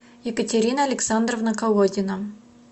екатерина александровна колодина